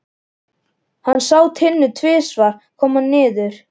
Hann sá Tinnu tvisvar koma niður.